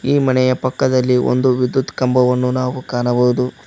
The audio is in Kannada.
ಈ ಮನೆಯ ಪಕ್ಕದಲ್ಲಿ ಒಂದು ವಿದ್ಯುತ್ ಕಂಬವನ್ನು ನಾವು ಕಾಣಬಹುದು.